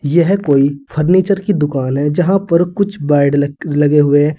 यह कोई फर्नीचर की दुकान है जहां पर कुछ बेड लगे हुए--